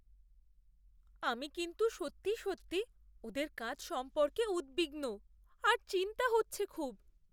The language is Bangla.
আমি কিন্তু সত্যি সত্যিই ওদের কাজ সম্পর্কে উদ্বিগ্ন আর চিন্তা হচ্ছে খুব।